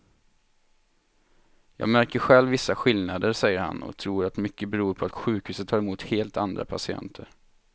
Jag märker själv vissa skillnader, säger han och tror att mycket beror på att sjukhuset tar emot helt andra patienter.